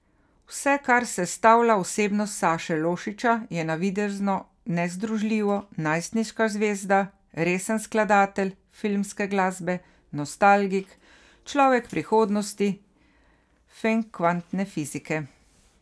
Vse, kar sestavlja osebnost Saše Lošića, je navidezno nezdružljivo, najstniška zvezda, resen skladatelj filmske glasbe, nostalgik, človek prihodnosti, fen kvantne fizike ...